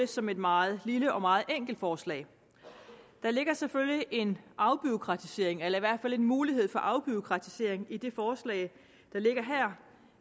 som et meget lille og meget enkelt forslag der ligger selvfølgelig en afbureaukratisering eller i hvert fald en mulighed for afbureaukratisering i det forslag der ligger her